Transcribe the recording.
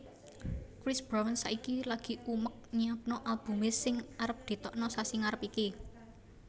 Chris Brown saiki lagi umek nyiapno albume sing arep ditokno sasi ngarep iki